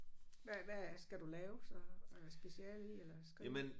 Hvad hvad skal du lave så øh speciale i eller skrive